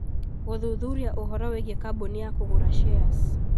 Gũthuthuria ũhoro wĩgiĩ kambũni ya kũgũra shares